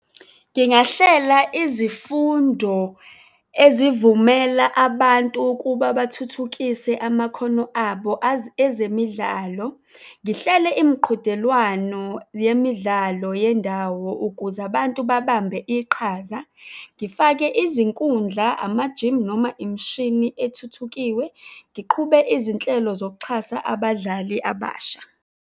Ngingahlela izifundo ezivumela abantu ukuba bathuthukise amakhono abo, ezemidlalo. Ngihlele imiqhudelwano yemidlalo yendawo ukuze abantu babambe iqhaza. Ngifake izinkundla, amajimu noma imishini ethuthukisiwe. Ngiqhube izinhlelo zokuxhasa abadlali abasha.